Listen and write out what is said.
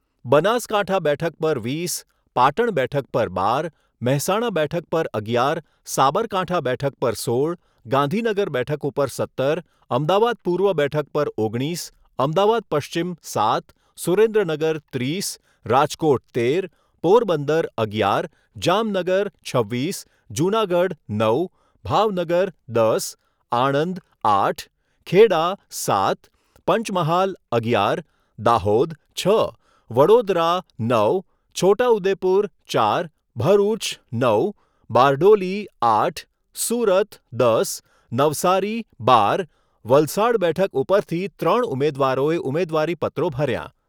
બનાસકાંઠા બેઠક પર વીસ, પાટણ બેઠક પર બાર, મહેસાણા બેઠક પર અગિયાર, સાબરકાંઠા બેઠક પર સોળ, ગાંધીનગર બેઠક ઉપર સત્તર, અમદાવાદ પૂર્વ બેઠક પર ઓગણીસ, અમદાવાદ પશ્ચિમ સાત, સુરેન્દ્રનગર ત્રીસ, રાજકોટ તેર, પોરબંદર અગિયાર, જામનગર છવ્વીસ, જૂનાગઢ નવ, ભાવનગર દસ, આણંદ આઠ, ખેડા સાત, પંચમહાલ અગિયાર, દાહોદ છ, વડોદરા નવ, છોટા ઉદેપુર ચાર, ભરૂચ નવ, બારડોલી આઠ, સુરત દસ, નવસારી બાર, વલસાડ બેઠક ઉપરથી ત્રણ ઉમેદવારોએ ઉમેદવારી પત્રો ભર્યાં